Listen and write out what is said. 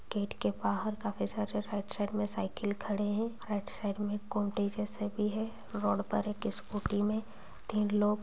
gate के बहार का काफी सारे राइट साइड में साइकिल खड़े हैं राइट साइड में जैसे भी है रोड पर एक स्कूटी में तीन लोग--